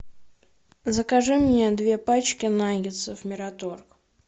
закажи мне две пачки наггетсов мираторг